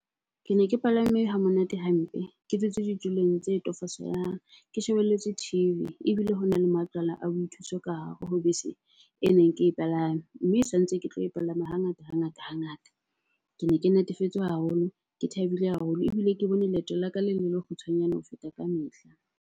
Ke ne ke palame ha monate hampe, ke dutse ditulong tse . Ke shebelletswe T_V ebile hona le matlwana a boithuso ka hare ho bese e neng ke e palame. Mme sa ntse ke tlo e palama hangata, hangata hangata. Kene ke natefetswe haholo, ke thabile haholo ebile ke bone leeto la ka le le le kgutshwanyane ho feta ka mehla.